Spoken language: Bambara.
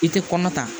I tɛ kɔnɔ ta